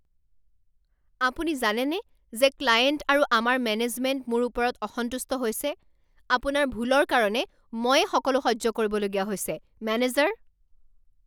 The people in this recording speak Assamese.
আপুনি জানেনে যে ক্লায়েণ্ট আৰু আমাৰ মেনেজমেণ্ট মোৰ ওপৰত অসন্তুষ্ট হৈছে? আপোনাৰ ভুলৰ কাৰণে ময়েই সকলো সহ্য কৰিবলগীয়া হৈছে মেনেজাৰ